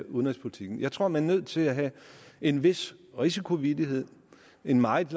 udenrigspolitikken jeg tror at man er nødt til at have en vis risikovillighed en meget